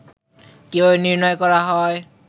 কিভাবে নির্ণয় করা হয়